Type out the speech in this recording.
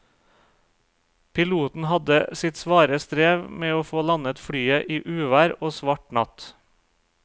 Piloten hadde sitt svare strev med å få landet flyet i uvær og svart natt.